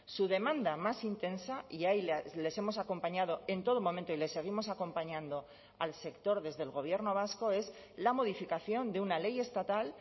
su demanda más intensa y ahí les hemos acompañado en todo momento y les seguimos acompañando al sector desde el gobierno vasco es la modificación de una ley estatal